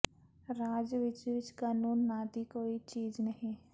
ਰਾਜ ਵਿੱਚ ਵਿੱਚ ਕਾਨੂੰਨ ਨਾ ਦੀ ਕੋਈ ਚੀਜ ਨਹੀ